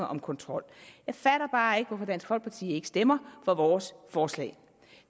om kontrol jeg fatter bare ikke hvorfor dansk folkeparti ikke stemmer for vores forslag